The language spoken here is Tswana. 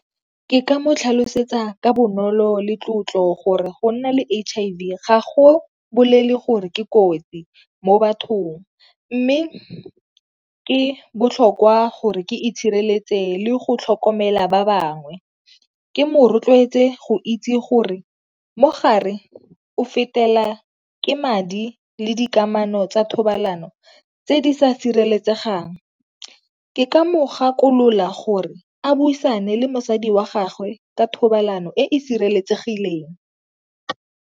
Ke ka mo tlhalosetsa ka bonolo le tlotlo gore go nna le H_I_V gago bolele gore ke kotsi mo bathong, mme ke botlhokwa gore ke itshireletse le go tlhokomela ba bangwe. Ke mo rotloetse go itse gore mogare o fetela ke madi le dikamano tsa thobalano tse di sa sireletsegang. Ke ka mo gakolola gore a buisane le mosadi wa gagwe ka thobalano e e sireletsegileng.